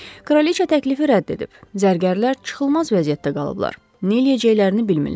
Kraliça təklifi rədd edib, zərgərlər çıxılmaz vəziyyətdə qalıblar, neyləyəcəklərini bilmirlər.